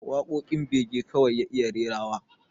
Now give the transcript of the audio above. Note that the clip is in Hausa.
Waƙoƙin bege kawai ya iya rerawa